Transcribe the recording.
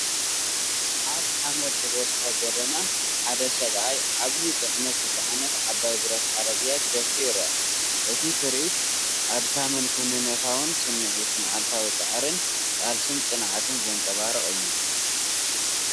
ኣብ ሓመድ ዝበዝሖ ጎደና ሓደ ሰብኣይ ዓቢ ጽዕነት ዝጸዓነት ዓባይ ብረት ዓረብያ ክደፍእ ይርአ። እቲ ትርኢት፡ ኣድካምን ክውንነታውን ስምዒት መዓልታዊ ጻዕርን ቃልስን ጽንዓትን ዘንጸባርቕ እዩ።